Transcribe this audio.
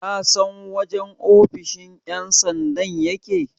kasan wajen ofoshin yansandan yake?